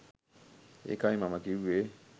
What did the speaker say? ඒකයි මම කිව්වේ